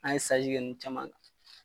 An ye kɛ ninnu caman kan.